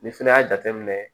Ni fɛnɛ y'a jateminɛ